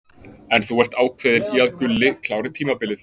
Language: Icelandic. En þú ert ákveðinn í að Gulli klári tímabilið?